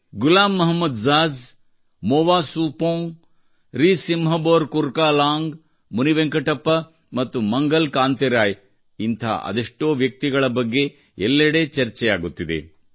Ghulam Mohammad Jaz Moa Subong Risingbor Kurkalang Munivenkatappa ಮತ್ತು ಮಂಗಲ ಕಾಂತಿ ರಾಯ್ ಇಂಥ ಅದೆಷ್ಟೋ ವ್ಯಕ್ತಿಗಳ ಬಗ್ಗೆ ಎಲ್ಲೆಡೆ ಚರ್ಚೆಯಾಗುತ್ತಿದೆ